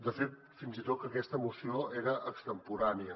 de fet fins i tot que aquesta moció era extemporània